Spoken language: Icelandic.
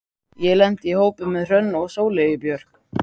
Ég lenti í hópi með Hrönn og Sóleyju Björk.